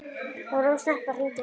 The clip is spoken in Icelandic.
Það var of snemmt að hringja núna.